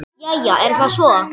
Jæja er það svo.